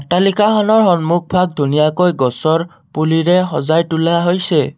অট্টালিকাখনৰ সন্মুখভাগ ধুনীয়াকৈ গছৰ পুলিৰে সজাই তোলা হৈছে অ--